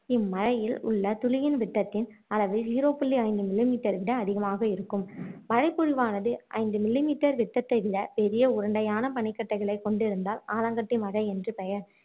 இம்மழையில் உள்ள துளியின் விட்டத்தின் அளவு zero புள்ளி ஐந்து millimeter விட அதிகமாக இருக்கும் மழைபொழிவானது ஐந்து millimeter விட்டத்தை விட பெரிய உருண்டையான பனிக் கட்டிகளை கொண்டிருந்தால் ஆலங்கட்டி மழை என்று பெயர்